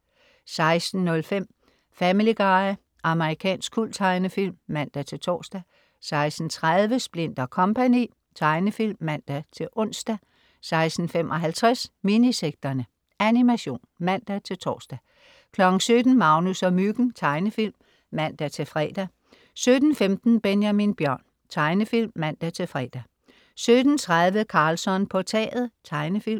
16.05 Family Guy. Amerikansk kulttegnefilm (man-tors) 16.30 Splint & Co. Tegnefilm (man-ons) 16.55 Minisekterne. Animation (man-tors) 17.00 Magnus og Myggen. Tegnefilm (man-fre) 17.15 Benjamin Bjørn. Tegnefilm (man-fre) 17.30 Karlsson på taget. Tegnefilm